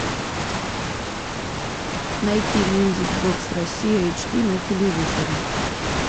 найти мьюзик бокс россия эйч ди на телевизоре